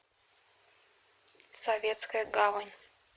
советская гавань